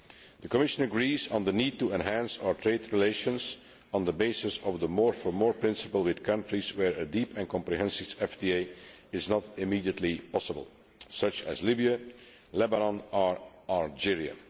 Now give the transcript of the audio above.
The Commission agrees on the need to enhance our trade relations on the basis of the more for more principle with countries where a deep and comprehensive FTA is not immediately possible, such as Libya, Lebanon or Algeria.